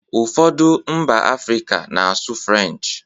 Ụfọdụ mba Africa na-asụ French